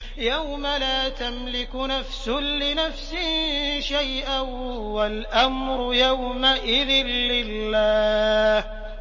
يَوْمَ لَا تَمْلِكُ نَفْسٌ لِّنَفْسٍ شَيْئًا ۖ وَالْأَمْرُ يَوْمَئِذٍ لِّلَّهِ